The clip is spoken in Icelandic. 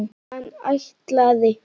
Hann ætlaði.